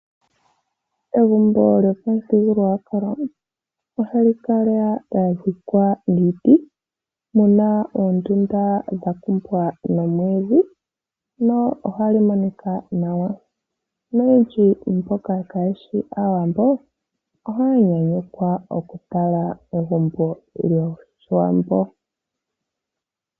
Egumbo lyomuthigululwakalo ohali kala lya dhikwa niiti , muna oondundu dha kumbwa nomwiidhi lyo ohali monika nawa naamboka kaaye shi Aawambo ohaya yuulukwa oku tala egumbo lyOshiwambo.